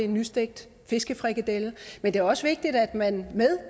nystegt fiskefrikadelle men det er også vigtigt at man i